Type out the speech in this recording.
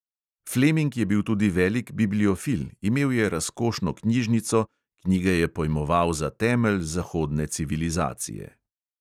Fleming je bil tudi velik bibliofil, imel je razkošno knjižnico, knjige je pojmoval za temelj zahodne civilizacije.